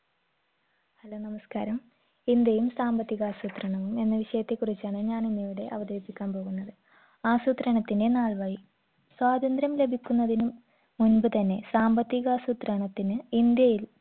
hello നമസ്‌കാരം ഇന്ത്യയും സാമ്പത്തികാസൂത്രണവും എന്ന വിഷയത്തെ കുറിച്ചാണ് ഞാനിന്ന് ഇവിടെ അവതരിപ്പിക്കാൻ പോകുന്നത് ആസൂത്രണത്തിന്റെ നാൾ വഴി സ്വാതന്ത്ര്യം ലഭിക്കുന്നതിനും മുമ്പ് തന്നെ സാമ്പത്തികാസൂത്രണത്തിന് ഇന്ത്യയിൽ